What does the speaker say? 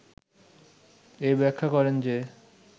এই ব্যাখ্যা করেন যে